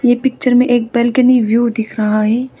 ये पिक्चर में एक बालकनी व्यू दिख रहा है।